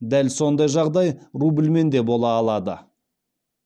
дәл сондай жағдай рубльмен де бола алады